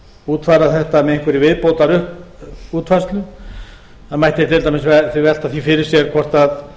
útfæra þetta með einhverri viðbótarútfærslu það mætti til dæmis velta því fyrir sér